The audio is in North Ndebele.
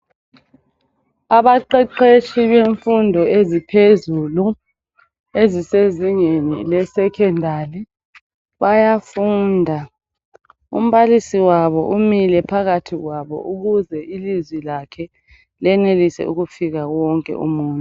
Abaqeqeshi bemfundo eziphezulu. Ezisezingeni le secondary. Bayafunda umbalisi wabo umile phakathi kwabo ukuze ilizwi lakhe lenelise ukufika kuwo wonke umuntu.